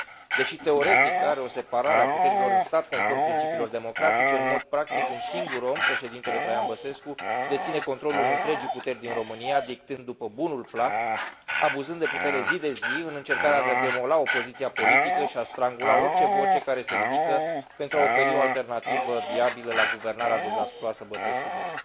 Deși, teoretic, are o separare a puterilor în stat, conform principiilor democratice, în mod practic un singur om, președintele Traian Băsescu, deține controlul întregii puteri din România, dictând după bunul plac, abuzând de putere zi de zi, în încercarea de a demola opoziția politică și a strangula orice voce care se ridică pentru a oferi o alternativă viabilă la guvernarea dezastruoasă Băsescu Boc.